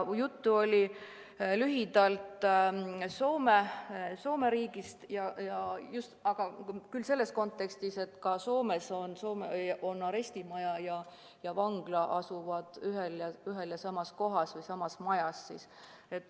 Juttu oli lühidalt Soome riigist, küll selles kontekstis, et ka Soomes asuvad arestimaja ja vangla ühes ja samas hoones.